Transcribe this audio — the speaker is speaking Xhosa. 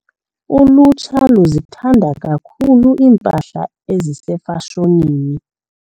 Ulutsha luzithanda kakhulu iimpahla ezisefashonini.